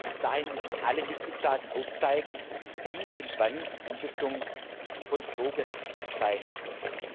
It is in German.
Bis dahin müssen alle Mitgliedstaaten aufzeigen, wie und wann die Umsetzung vollzogen sein soll.